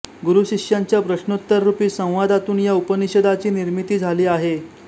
गुरुशिष्यांच्या प्रश्नोत्तररुपी संवादातून या उपनिषदाची निर्मिती झाली आहे